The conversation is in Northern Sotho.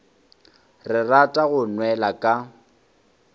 ke rata go nwela ka